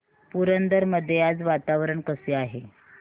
पुरंदर मध्ये आज वातावरण कसे आहे